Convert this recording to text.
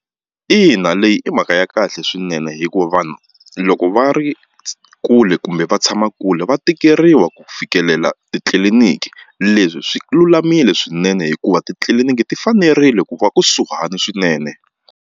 Ina leyi i mhaka ya kahle swinene hikuva vanhu loko va ri kule kumbe va tshama kule va tikeriwa ku fikelela titliliniki leswi swi lulamile swinene hikuva titliliniki ti fanerile ku va kusuhani swinene.